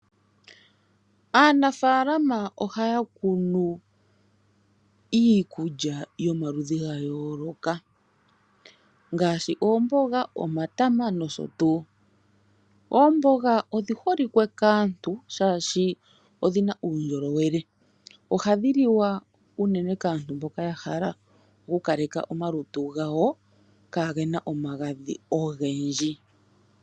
Aanafalama ohaya kunu iinima yayooloka ngaashi oomboga nomatama gokukalekapo uundjolowele